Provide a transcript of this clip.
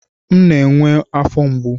M na-enwe afọ mgbu.